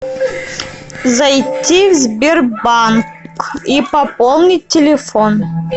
зайти в сбербанк и пополнить телефон